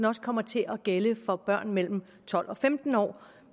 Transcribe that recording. også kommer til at gælde for børn mellem tolv og femten år